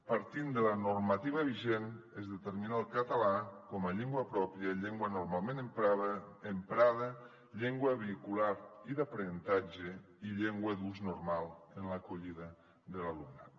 partint de la normativa vigent es determina el català com a llengua pròpia llengua normalment emprada llengua vehicular i d’aprenentatge i llengua d’ús normal en l’acollida de l’alumnat